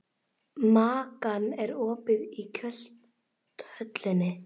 Makan, er opið í Kjöthöllinni?